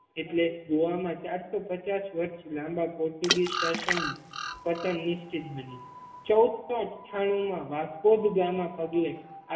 એટલે ગોવા મા ચારસો પચાસ વર્ષ લાંબા પોર્ટુગીઝ શાસન પતન નિશ્ચિત બન્યું ચૌદસો અઠ્ઠામુ મા વસ્ગોદ ગામા પગલે